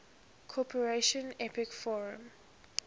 cooperation apec forum